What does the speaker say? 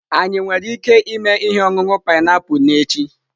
Anyị nwere ike ịme ihe ọṅụṅụ painiapulu n'echi?